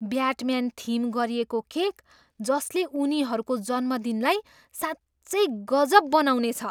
Batman theme गरिएको केक, जसले उनीहरूको जन्मदिनलाई साँच्चै गजब बनाउनेछ!